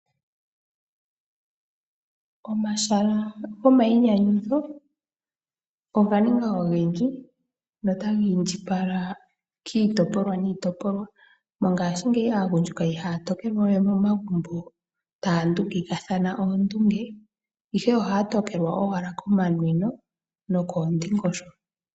Omahala gomayinyanyudho oganinga ogendji nota ga indjipala kiitopolwa, mongashingeya aagundjuka ihaya tokelwa momagumbo taya ndungikathana oondunge ihe ohaya tokelwa owala komanwino nokoondingosho.